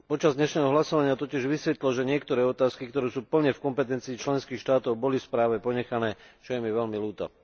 Počas dnešného hlasovania totiž vysvitlo, že niektoré otázky, ktoré sú plne v kompetencii členských štátov, boli v správe ponechané, čo je mi veľmi ľúto.